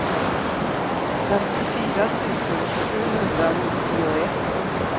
femtiofyra tusen sjuhundranittioett